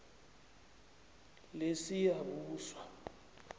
lesiyabuswa